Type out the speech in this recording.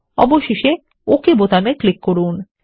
অবশেষে ওক বোতামেক্লিক করুন